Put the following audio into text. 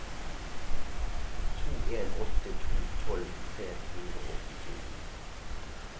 to en åtte to tolv tre hundre og åttito